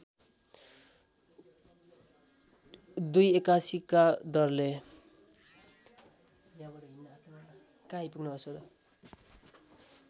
२८१ का दरले